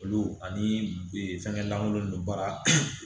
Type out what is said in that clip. Olu ani fɛngɛ lankolon ninnu baara